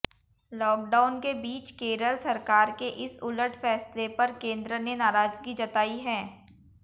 lockdown के बीच केरल सरकार के इस उलट फैसले पर केंद्र ने नाराजगी जताई है